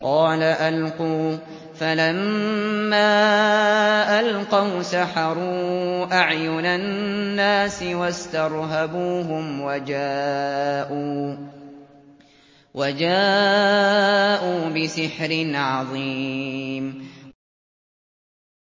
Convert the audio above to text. قَالَ أَلْقُوا ۖ فَلَمَّا أَلْقَوْا سَحَرُوا أَعْيُنَ النَّاسِ وَاسْتَرْهَبُوهُمْ وَجَاءُوا بِسِحْرٍ عَظِيمٍ